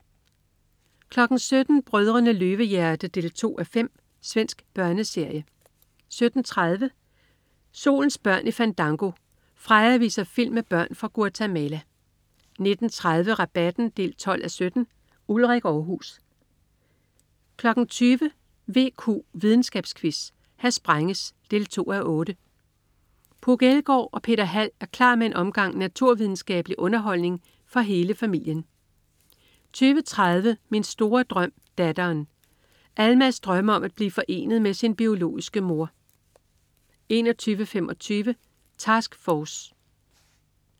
17.00 Brødrene Løvehjerte 2:5. Svensk børneserie 17.30 Solens børn i Fandango. Freja viser film med børn fra Guatemala 19.30 Rabatten 12:17. Ulrik Aarhus 20.00 VQ, videnskabsquiz. Her sprænges! 2:8. Puk Elgård og Peter Hald er klar med en omgang naturvidenskabelig underholdning for hele familien 20.30 Min store drøm Datteren. Almaz drømmer om at blive forenet med sin biologiske mor 21.25 Task Force